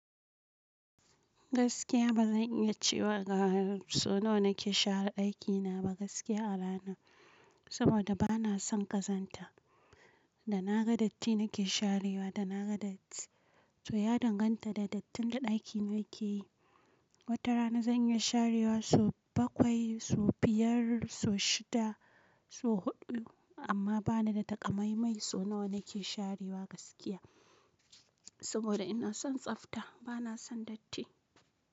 Gaskiya ba zan iya cewa ga so nawa na ke share ɗakina ba gaskiya a rana, saboda bana son kazanta. Da na ga datti na ke sharewa, da na ga datti. To ya danganta da dattin da ɗakina ke yi. Wata rana zan iya sharewa so bakwai, so biyar, so shida, so huɗu amma bana da takamaimai so nawa na ke sharewa gaskiya. Saboda ina son tsafta bana son datti.